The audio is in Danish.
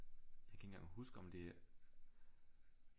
Jeg kan ikke engang huske om det